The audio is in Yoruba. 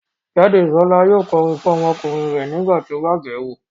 Jádesọ́lá yóò kọrin fún ọmọkùnrin rẹ̀ nígbà tí ó bá bẹ̀ẹ́ wo